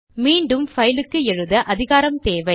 மீண்டும் பைல் க்கு எழுத அதிகாரம் தேவை